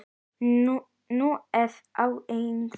Nú efni ég það.